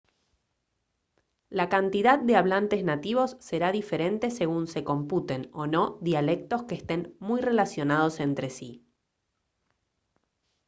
la cantidad de hablantes nativos será diferente según se computen o no dialectos que estén muy relacionados entre sí